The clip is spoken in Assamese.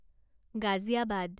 গাজিয়াবাদ